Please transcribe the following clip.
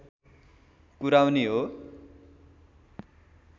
कुराउनी हो